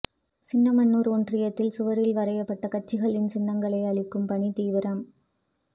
சின்னமனூா் ஒன்றியத்தில் சுவரில் வரையப்பட்ட கட்சிகளின் சின்னங்களை அழிக்கும் பணி தீவிரம்